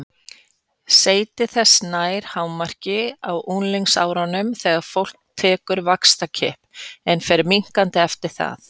Seyti þess nær hámarki á unglingsárunum þegar fólk tekur vaxtarkipp en fer minnkandi eftir það.